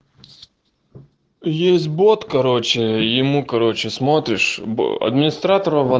есть бот короче ему короче смотришь администратор ава